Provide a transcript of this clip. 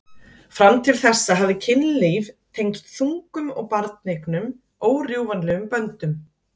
Fram til þessa hafði kynlíf tengst þungun og barneignum órjúfanlegum böndum.